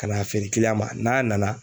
Ka n'a feere ma n'a nana